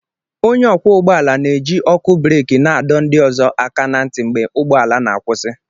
Onye ọkwọ ụgbọ ala na-eji ọkụ breek na-adọ ndị ọzọ aka na ntị mgbe ụgbọ ala na-akwụsị